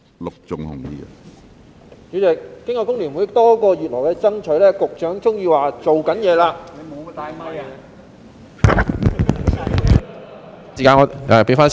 主席，經過香港工會聯合會多個月來的爭取，局長終於說正在做事......